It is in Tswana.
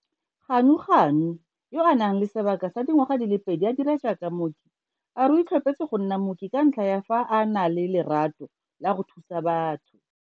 Ganuganu, yo a nang le sebaka sa dingwaga di le pedi a dira jaaka mooki, a re o itlhophetse go nna mooki ka ntlha ya fa a na le lerato la go thusa batho.